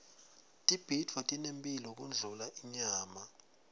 tibhidvo tinemphilo kundlula inyama